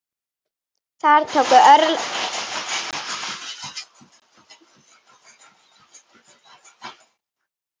Þar tóku örlögin yfir.